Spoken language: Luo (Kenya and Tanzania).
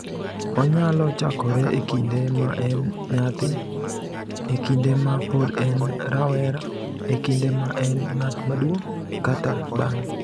"Onyalo chakore e kinde ma en nyathi, e kinde ma pod en rawera, e kinde ma en ng’at maduong’, kata bang’e."